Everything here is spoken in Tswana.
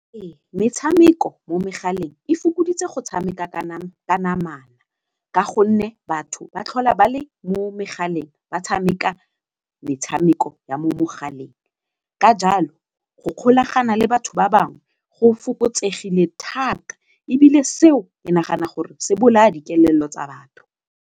Metshameko mo megaleng e fokoditse go tshameka ka gonne batho ba tlhola ba le mo megaleng ba tshameka metshameko ya mo mogaleng ka jalo go kgolagana le batho ba bangwe go fokotsegile thata ebile seo ke nagana gore se bolaya dikelello tsa batho.